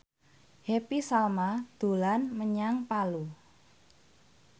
Happy Salma dolan menyang Palu